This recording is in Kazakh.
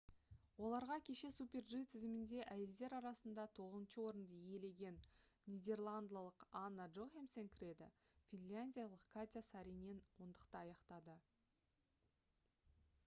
оларға кеше super-g тізімінде әйелдер арасында тоғызыншы орынды иелеген нидерландылық анна джохемсен кіреді финляндиялық катя сааринен ондықты аяқтады